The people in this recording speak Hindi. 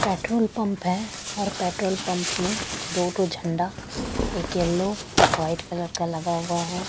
पेट्रोल पंप है और पेट्रोल पंप में दो ठो झंडा एक येलो एक वाइट कलर का लगा हुआ है।